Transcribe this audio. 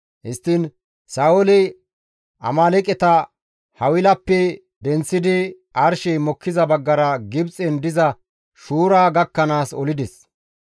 Histtiin Sa7ooli Amaaleeqeta Hawilappe denththidi arshey mokkiza baggara Gibxen diza Shuura gakkanaas olides.